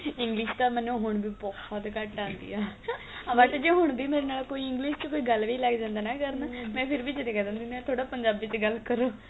English ਤਾਂ ਮੰਨ ਹੁਣ ਵੀ ਬਹੁਤ ਘੱਟ ਆਂਦੀ ਏ ਆ ਬੱਸ ਜੇ ਹੁਣ ਵੀ ਮੇਰੇ ਨਾਲ ਕੋਈ English ਚ ਕੋਈ ਗੱਲ ਵੀ ਲੱਗ ਜਾਂਦਾ ਨਾ ਕਰਨ ਮੈ ਫ਼ਿਰ ਵੀ ਜਦੇ ਕਹਿ ਦਿੰਦੀ ਹੁੰਦੀ ਆ ਥੋੜਾ ਪੰਜਾਬੀ ਚ ਗੱਲ ਕਰੋ